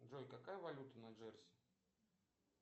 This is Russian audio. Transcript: джой какая валюта на джерси